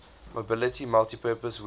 mobility multipurpose wheeled